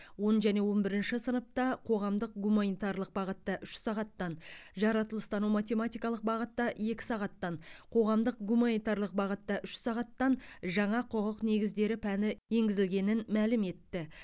оныншы және он бірінші сыныпта қоғамдық гуманитарлық бағытта үш сағаттан жаратылыстану математикалық бағытта екі сағаттан қоғамдық гуманитарлық бағытта үш сағаттан жаңа құқық негіздері пәні енгізілгенін мәлім етті